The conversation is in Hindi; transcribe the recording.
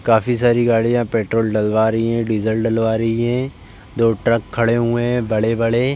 काफी सारी गाड़ियां पेट्रोल डलवा रही हैं डीजल डलवा रही हैं। दो ट्रक खड़े हुए हैं बड़े-बड़े।